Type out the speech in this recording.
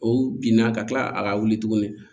O binna ka kila a ka wuli tuguni